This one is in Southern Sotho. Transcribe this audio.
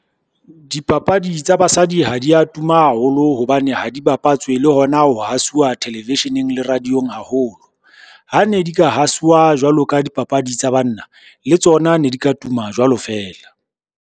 Dipapadi tsa basadi ha di a tuma haholo hobane ha di bapatswe, le hona ho hasuwa television-eng le radio-ng haholo. Ha ne di ka hasuwa jwalo ka dipapadi tsa banna, le tsona ne di ka tuma jwalo feela.